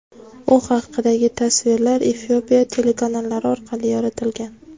U haqidagi tasvirlar Efiopiya telekanallari orqali yoritilgan.